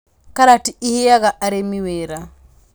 Karati ĩheaga arĩmi wĩra